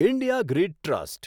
India grid trust